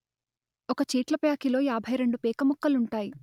ఒక చీట్లప్యాకిలో యాభై రెండు పేకముక్కలుంటాయి